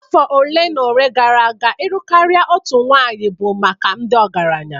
Afọ ole na ole gara aga ịlụ karịa otu nwanyị bụ maka ndị ọgaranya